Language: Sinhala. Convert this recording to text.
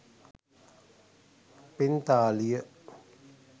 පිංතාලිය